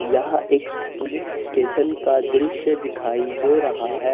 यह एक police station का दृश्य दिखाई दे रहा है।